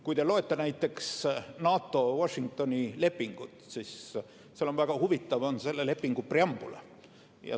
Kui te loete näiteks NATO Washingtoni lepingut, siis väga huvitav on selle lepingu preambul.